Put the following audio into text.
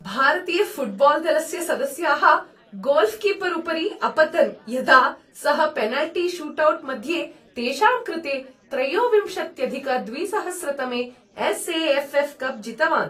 भारतीयफ़ुट्बाल् दलस्य सदस्याः गोल्कीपर् उपरि अपतन् यदा सः पेनल्टी शूट्औट् मध्ये तेषां कृते त्रयोविंशत्यधिकद्विसहस्रतमे S A F F cup जितवान्।